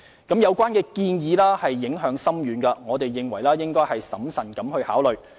相關建議影響深遠，我們認為應審慎考慮。